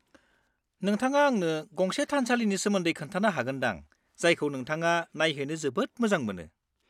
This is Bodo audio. -नोंथाङा आंनो गंसे थानसालिनि सोमोन्दै खोन्थानो हागोन दां जायखौ नोंथाङा नायहैनो जोबोद मोजां मोनो।